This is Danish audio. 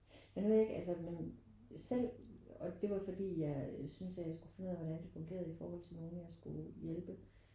Men nu ved jeg ikke altså men selv og det var jo fordi jeg synes at jeg skulle finde ud af hvordan det fungerede i forhold til nogen jeg skulle hjælpe